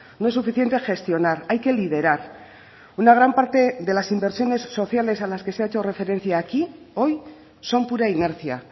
no es suficiente gestionar hay que liderar una gran parte de las inversiones sociales a las que se ha hecho referencia aquí hoy son pura inercia